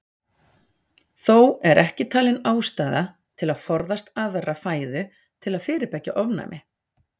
Þó er ekki talin ástæða til að forðast aðra fæðu til að fyrirbyggja ofnæmi.